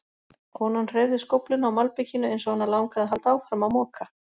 Konan hreyfði skófluna á malbikinu eins og hana langaði að halda áfram að moka.